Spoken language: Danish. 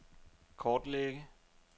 kortlægge